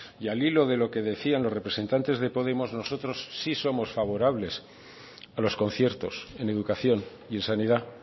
y al hilo de lo que decían los representantes de podemos nosotros sí somos favorables a los conciertos en educación y en sanidad